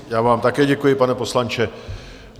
Já vám také děkuji, pane poslanče.